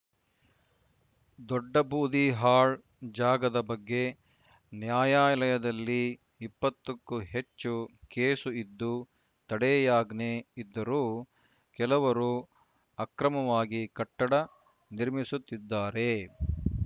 ದೊಡ್ಡ ಬೂದಿಹಾಳ್‌ ಜಾಗದ ಬಗ್ಗೆ ನ್ಯಾಯಾಲಯದಲ್ಲಿ ಇಪ್ಪತ್ತಕ್ಕೂ ಹೆ ಚ್ಚು ಕೇಸ್‌ ಇದ್ದು ತಡೆಯಾಜ್ಞೆ ಇದ್ದರೂ ಕೆಲವರು ಅಕ್ರಮವಾಗಿ ಕಟ್ಟಡ ನಿರ್ಮಿಸುತ್ತಿದ್ದಾರೆ